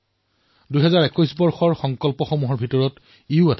এয়াও ২০২১ৰ সংকল্পসমূহৰ ভিতৰত এটা